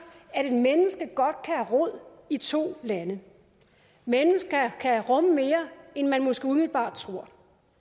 at et menneske godt kan have rod i to lande mennesker kan rumme mere end man måske umiddelbart tror